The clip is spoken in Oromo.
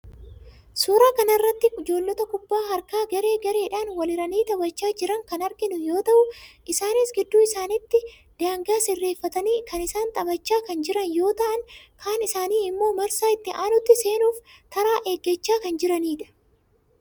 suuraa kana irratti ijoollota kuphaa harkaa garee gareedhaan walhiranii taphachaa jiran kan arginu yoo ta'u, isaanis gidduu isaaniittti daangaa sirreeffatanii kaan isaanii taphachaa kan jiran yoo ta'an kaan isaanii immoo marsaa itti aanutti seenuuf taraa eeggachaa kan jiranidha.